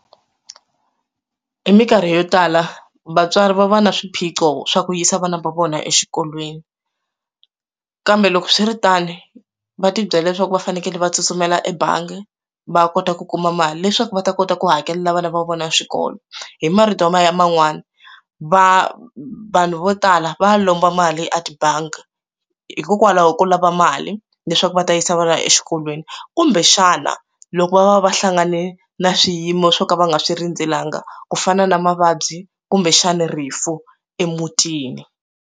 Hi minkarhi yo tala vatswari va va na swiphiqo swa ku yisa vana va vona exikolweni kambe loko swi ri tano va tibyela leswaku va fanekele va tsutsumela ebangi va kota ku kuma mali leswaku va ta kota ku hakelela vana va vona swikolo hi marito ya man'wani va vanhu vo tala va lomba mali a tibangi hikokwalaho ko lava mali leswaku va ta yisa vana exikolweni kumbexana loko va hlangane na swiyimo swo ka va nga swi rindzelangi ku fana na mavabyi kumbexani rifu emutini.